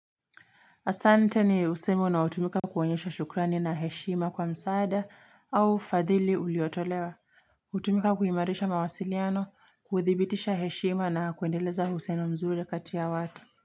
Asante ni usemi unaotumika kuonyesha shukrani na heshima kwa msaada au fadhili uliotolewa. Hutumika kuimarisha mawasiliano, kuthibitisha heshima na kuendeleza uhusiano mzuri kati ya watu.